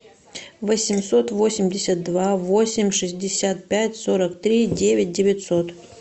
восемьсот восемьдесят два восемь шестьдесят пять сорок три девять девятьсот